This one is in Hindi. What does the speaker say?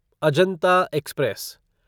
अजंता एक्सप्रेस